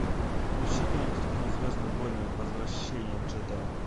включи кинокартину звездные войны возвращение джедая